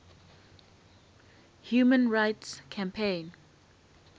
human rights campaign